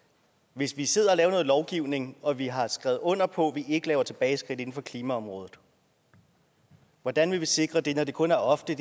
hvis vi sidder og laver noget lovgivning og vi har skrevet under på at vi ikke laver tilbageskridt inden for klimaområdet hvordan vil vi så sikre det når det kun er ofte